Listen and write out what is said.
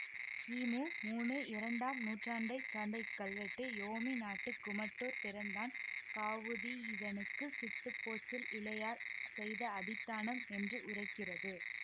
கிமு மூனு இரண்டாம் நூற்றாண்டை சார்ந்த இக்கல்வெட்டு யோமிநாட்டுக் குமட்டூர் பிறந்தான் காவுதி யிதனுக்குச் சித்துப்போச்சில் இளையார் செய்த அதிட்டானம் என்று உரைக்கிறது